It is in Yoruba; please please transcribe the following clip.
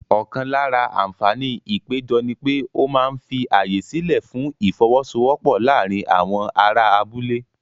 Ọ̀kan lára àǹfààní ìpéjọ ni pé ó máa ń fi ààyè sílẹ̀ fún ìfọ́wọ́sọwọ́pọ̀ láàárín àwọn ará abúlé.